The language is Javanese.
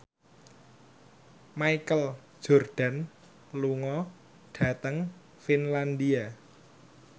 Michael Jordan lunga dhateng Finlandia